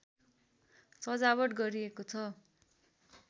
सजावट गरिएको छ